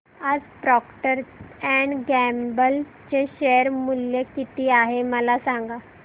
आज Procter and Gamble चे share मूल्य किती आहे मला सांगा